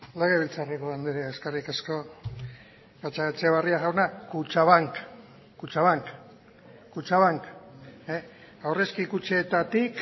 legebiltzarreko anderea eskerrik asko gatzagaetxebarria jauna kutxabank aurrezki kutxetatik